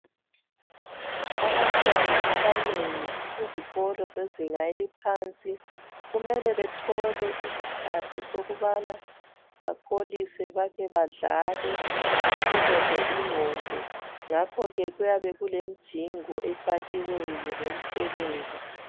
Abantwana abanengi kuzikolo zezinga eliphansi kumele bethole iskhathi sokubana bakholise bake badlale, bephumuze ingqondo. Ngakho ke kuyabe kulimjingo efakiweyo lemtshelelo.